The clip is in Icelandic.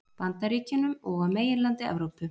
Bandaríkjunum og á meginlandi Evrópu.